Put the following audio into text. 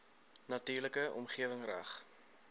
natuurlike omgewing reg